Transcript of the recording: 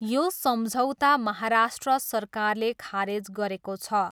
यो सम्झौता महाराष्ट्र सरकारले खारेज गरेको छ।